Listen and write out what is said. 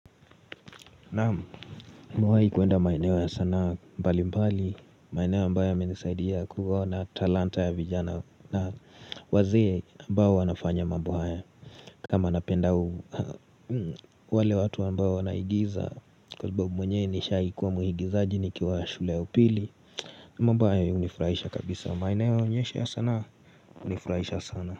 Naam nimewai kuenda maeneo ya sanaa mbali mbali maeneo ambayo yamenisaidia kuona talanta ya vijana na wazee ambao wanafanya mambo haya kama napenda wale watu ambao wanaigiza kwa sababu mwenye nishaikuwa muigizaji nikiwa shule ya upili Mbaye unifurahisha kabisa maeneo unyesha ya sana unifurahisha sana.